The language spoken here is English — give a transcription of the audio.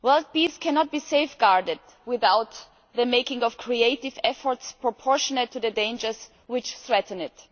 This cannot be safeguarded without the making of creative efforts proportionate to the dangers which threaten it.